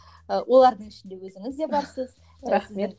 ы олардың ішінде өзіңіз де барсыз рахмет